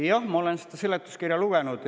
Jah, ma olen seda seletuskirja lugenud.